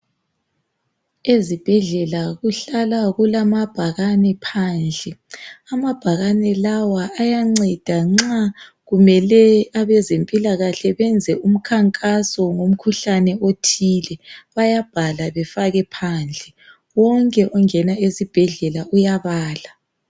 Ezibhedlela kuhlala kulamabhakane phandle amabhakane lawa ayanceda nxa kumele abezempilakahle benze umkhankaso ngomkhuhlane othile bayabhala befake phandle wonke ongena esibhedlela uyabala.